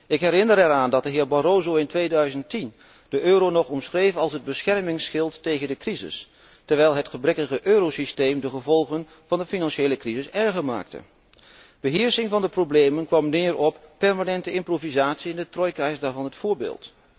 Ik herinner eraan dat de heer Barroso in 2010 de euro nog omschreef als het beschermingsschild tegen de crisis, terwijl het gebrekkige eurosysteem de gevolgen van de financiële crisis erger maakte. Beheersing van de problemen kwam neer op permanente improvisatie en de trojka is daarvan het voorbeeld.